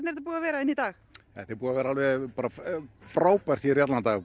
þetta búið að vera hérna í dag þetta er búið að vera frábært hér í allan dag